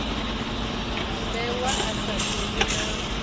mmbengwa a sa ḓivhi na